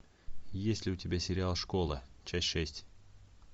есть ли у тебя сериал школа часть шесть